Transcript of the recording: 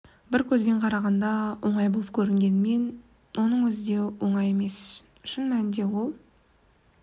бір көзбен қарағанда оңай болып көрінгенімен оның өзі де оңай іс емес шын мәнінде ол